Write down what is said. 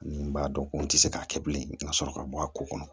Ni n b'a dɔn ko n tɛ se k'a kɛ bilen ka sɔrɔ ka bɔ a ko kɔnɔ